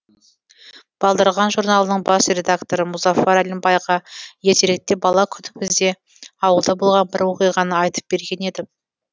балдырған журналының бас редакторы мұзафар әлімбайға ертеректе бала күнімізде ауылда болған бір оқиғаны айтып берген едім